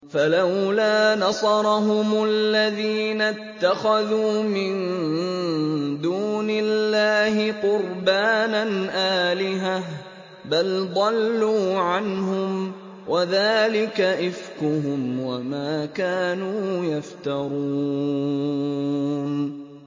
فَلَوْلَا نَصَرَهُمُ الَّذِينَ اتَّخَذُوا مِن دُونِ اللَّهِ قُرْبَانًا آلِهَةً ۖ بَلْ ضَلُّوا عَنْهُمْ ۚ وَذَٰلِكَ إِفْكُهُمْ وَمَا كَانُوا يَفْتَرُونَ